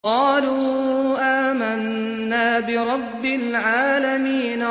قَالُوا آمَنَّا بِرَبِّ الْعَالَمِينَ